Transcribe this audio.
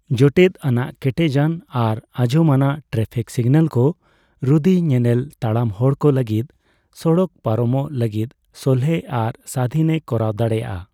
ᱡᱚᱴᱮᱫ ᱟᱱᱟᱜ ᱠᱮᱴᱮᱡᱟᱱ ᱟᱨ ᱟᱸᱡᱚᱢᱟᱱᱟᱜ ᱴᱨᱟᱯᱷᱤᱠ ᱥᱤᱜᱱᱟᱹᱞ ᱠᱚ ᱨᱩᱫᱤ ᱧᱮᱱᱮᱞ ᱛᱟᱲᱟᱢ ᱦᱚᱲ ᱠᱚ ᱞᱟᱹᱜᱤᱫ ᱥᱚᱲᱚᱠ ᱯᱟᱨᱚᱢᱚᱜ ᱞᱟᱹᱜᱤᱫ ᱥᱚᱞᱦᱮ ᱟᱨ ᱥᱟᱫᱷᱤᱱᱮ ᱠᱚᱨᱟᱣ ᱫᱟᱲᱮᱭᱟᱜᱼᱟ ᱾